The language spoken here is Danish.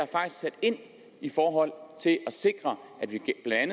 sat ind i forhold til at sikre at vi